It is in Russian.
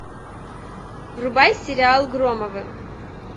врубай сериал громовы